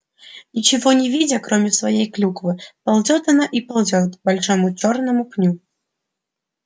ничего не видя кроме своей клюквы ползёт она и ползёт к большому чёрному пню